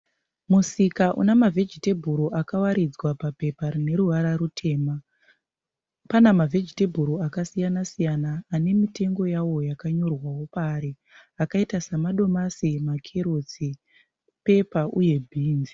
Musika une mavhejitebhuro akawaridzwa papepa rine ruvara rutema. Pana mavhejitemburo akasiyana siyana ane mitengo yawo yakanyorwawo pari akaita semadomasi, makerotsi, pepa uye bhinzi.